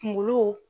Kunkolo